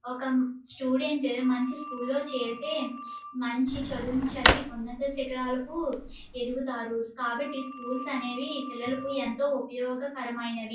ఒక స్టూడెంట్ మంచి స్కూల్ లో చేరితే మంచి చదువును చదివి ఉన్నత శిఖరాలకు ఎదుగుతారు కాబట్టి స్కూల్స్ అనేవి పిల్లలకు ఎంతో ఉపయోగకరమైనవి.